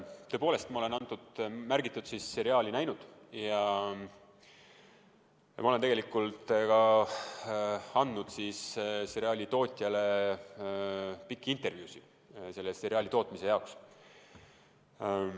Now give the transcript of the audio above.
Tõepoolest, ma olen märgitud seriaali näinud ja ma olen tegelikult ka andnud seriaali tootjale pikki intervjuusid selle tootmise jaoks.